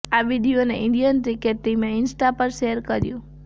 આ વીડિયોને Indian cricket ટીમે ઈન્સટા પર શેર કર્યું